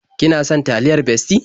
Ki na son taliyar Bestie?